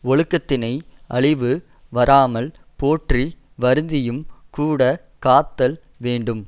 ஒழுக்கத்தினை அழிவு வராமல் போற்றி வருந்தியும் கூட காத்தல் வேண்டும்